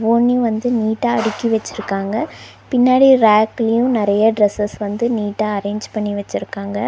துணி வந்து நீட்டா அடிக்கி வெச்சுருக்காங்க பின்னாடி ரேக்லயு நெறையா ட்ரெஸ்ஸஸ் வந்து நீட்டா அரேஞ்ச் பண்ணி வெச்சுருக்காங்க